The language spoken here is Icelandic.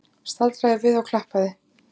Staldraði við og klappaði!